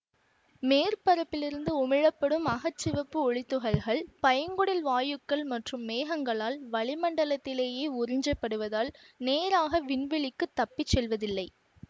மேற்பரப்பிலிருந்து உமிழ படும் அக சிவப்பு ஒளித்துகள்கள் பைங்குடில் வாயுக்கள் மற்றும் மேகங்களால் வளிமண்டலத்திலேயே உறிஞ்சப் படுவதால் நேராக விண்வெளிக்குத் தப்பி செல்வதில்லை